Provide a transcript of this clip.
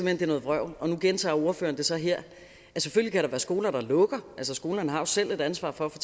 hen er noget vrøvl og nu gentager ordføreren det så her selvfølgelig kan der være skoler der lukker altså skolerne har selv et ansvar for at få